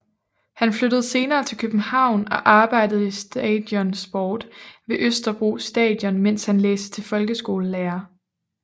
Han flyttede senere til København og arbejdede i Stadion Sport ved Østerbro Stadion mens han læste til folkeskolelærer